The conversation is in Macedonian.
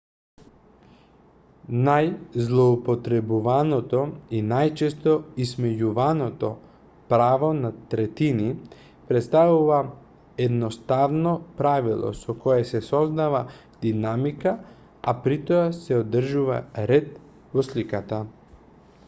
најзлоупотребуваното и најчесто исмејуваното право на третини претставува едноставно правило со кое се создава динамика а притоа се одржува ред во сликата